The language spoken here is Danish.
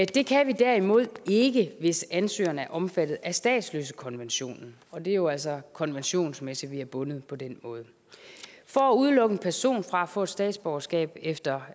det kan vi derimod ikke hvis ansøgeren er omfattet af statsløsekonventionen og det er jo altså konventionsmæssigt vi er bundet på den måde for at udelukke en person fra at få et statsborgerskab efter